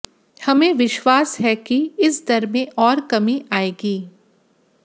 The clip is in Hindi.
हमें विश्वास है कि इस दर में और कमी आएगी